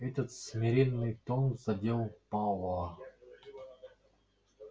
этот смиренный тон задел пауэлла